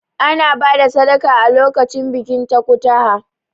Ana ba da sadaka a lokacin bikin takutaha.